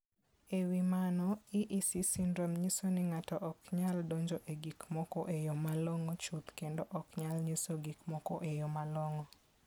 E wi mano, EEC syndrome nyiso ni ng'ato ok nyal donjo e gik moko e yo malong'o chuth kendo ok onyal nyiso gik moko e yo malong'o.